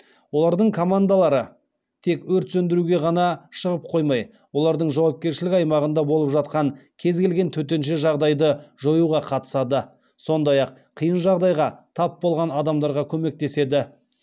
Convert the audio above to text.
олардың командалары тек өрт сөндіруге ғана шығып қоймай олардың жауапкершілік аймағында болып жатқан кез келген төтенше жағдайды жоюға қатысады сондай ақ қиын жағдайға тап болған адамдарға көмектеседі